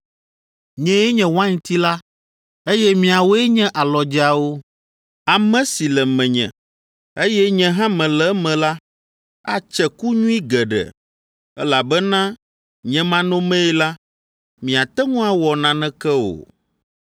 “Nyee nye wainti la, eye miawoe nye alɔdzeawo. Ame si le menye, eye nye hã mele eme la, atse ku nyui geɖe, elabena nye manɔmee la, miate ŋu awɔ naneke o.